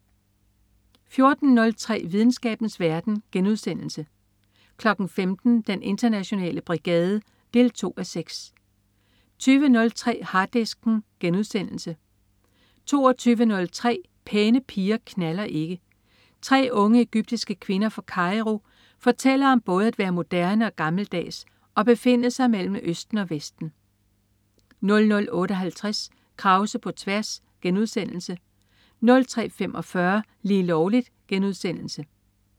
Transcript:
14.03 Videnskabens verden* 15.00 Den internationale brigade 2:6 20.03 Harddisken* 22.03 Pæne piger knalder ikke. Tre unge egyptiske kvinder fra Kairo fortæller om både at være moderne og gammeldags og befinde sig mellem Østen og Vesten 00.58 Krause på tværs* 03.45 Lige Lovligt*